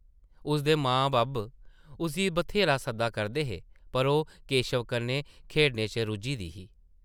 उसदे मां-बब्ब उस्सी ब्थेहरा सद्दा करदे हे पर ओह् केशव कन्नै खेढने च रुज्झी दी ही ।